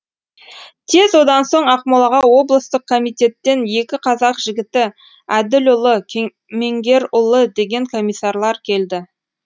тез одан соң ақмолаға облыстық комитеттен екі қазақ жігіті әділұлы кемеңгерұлы деген комиссарлар келді